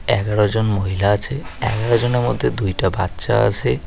এগারোজন মহিলা আছে এগারোজনের মধ্যে দুইটা বাচ্চা আসে।